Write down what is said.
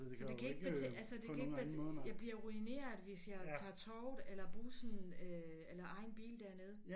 Så det kan ikke altså det kan ikke jeg bliver ruineret hvis jeg tager toget eller bussen eller egen bil derned